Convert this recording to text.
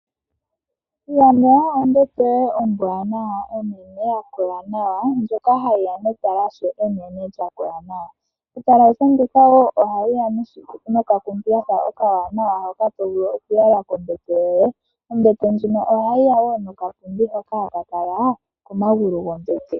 Landa ombete yoye ombwaanawa ya kola nawa, ndjoka hayi ya netalashe enene lya kola nawa. Etalashe ndika wo ohali ya nokakuusinga okawaanawa hoka to vulu oku yala kombete yoye. Ombete ndjino ohayi ya wo nokapundi hoka haka kala komagulu gombete.